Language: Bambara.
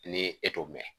Ni e t'o mɛn